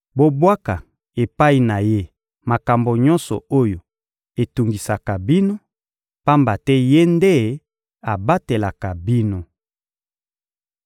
Bobwaka epai na Ye makambo nyonso oyo etungisaka bino, pamba te Ye nde abatelaka bino.